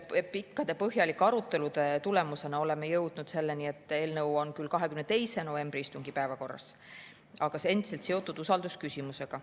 Pikkade ja põhjalike arutelude tulemusena oleme jõudnud selleni, et eelnõu on küll 22. novembri istungi päevakorras, aga see on endiselt seotud usaldusküsimusega.